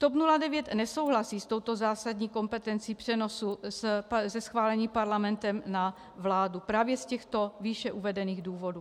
TOP 09 nesouhlasí s touto zásadní kompetencí přenosu ze schválení parlamentem na vládu právě z těchto výše uvedených důvodů.